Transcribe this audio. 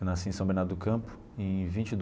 Eu nasci em São Bernardo do Campo em vinte do.